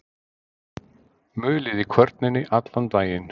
Mulið í kvörninni allan daginn.